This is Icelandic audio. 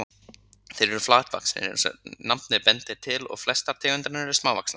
Þeir eru flatvaxnir eins og nafnið bendir til og flestar tegundirnar eru smávaxnar.